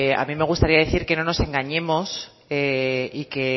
a mí me gustaría decir que no nos engañemos y que